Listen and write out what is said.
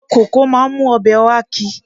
Koko máa ń mú ọbẹ̀ oha ki.